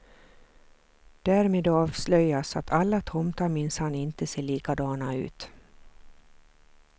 Därmed avslöjas att alla tomtar minsann inte ser likadana ut.